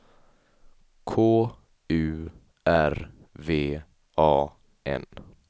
K U R V A N